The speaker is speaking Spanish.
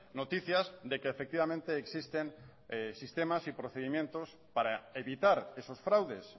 noticias de que efectivamente existen sistemas y procedimientos para evitar esos fraudes